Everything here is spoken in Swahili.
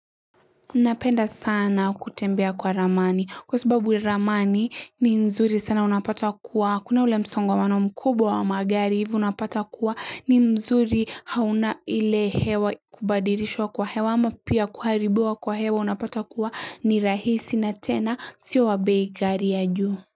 Napenda sana kutembea kwa ramani. Kwa sababu ramani ni nzuri sana unapata kuwa. Kuna ule msongamano mkubwa wa magari hivyo unapata kuwa ni mzuri, hauna ile hewa kubadilishwa kwa hewa ama pia kuharibiwa kwa hewa unapata kuwa ni rahisi na tena sio wa bei ghali ya juu.